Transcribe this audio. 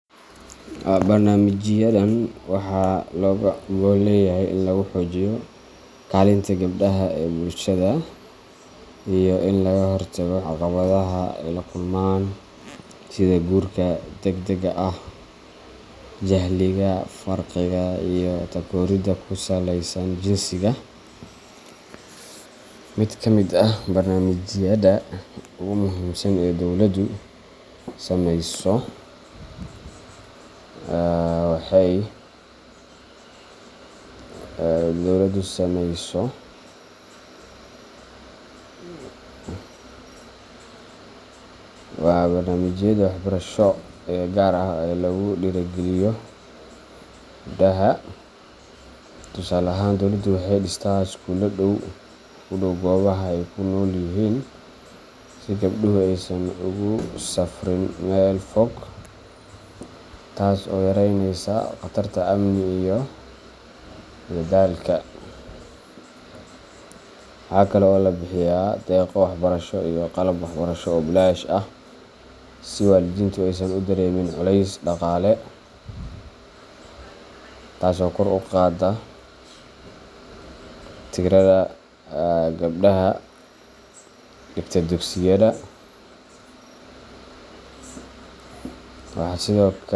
Barnaamijyadan waxaa looga gol leeyahay in lagu xoojiyo kaalinta gabdhaha ee bulshada iyo in laga hortago caqabadaha ay la kulmaan sida guurka degdega ah, jahliga, faqriga, iyo takooridda ku saleysan jinsiga. Mid ka mid ah barnaamijyada ugu muhiimsan ee dowladdu samayso waa barnaamijyada waxbarasho ee gaar ah oo lagu dhiirrigeliyo gabdhaha. Tusaale ahaan, dowladdu waxay dhistaa iskuullo u dhow goobaha ay ku nool yihiin si gabdhuhu aysan ugu safriin meel fog, taas oo yareynaysa khatarta amni iyo daalka. Waxaa kale oo la bixiyaa deeqo waxbarasho iyo qalab waxbarasho oo bilaash ah si waalidiintu aysan u dareemin culays dhaqaale, taas oo kor u qaadda tirada gabdhaha dhigta dugsiyada, waxaa sidoo kale.